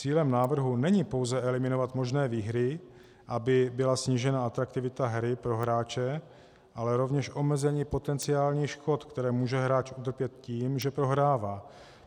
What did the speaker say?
Cílem návrhu není pouze eliminovat možné výhry, aby byla snížena atraktivita hry pro hráče, ale rovněž omezení potenciálních škod, které může hráč utrpět tím, že prohrává.